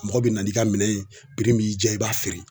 Mɔgɔ be na n'i ka minɛn ye min y'i ja i b'a feere.